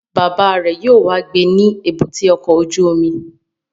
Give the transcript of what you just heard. Bàbá rẹ̀ yóò wá gbé ní èbúté ọkọ̀ ojú omi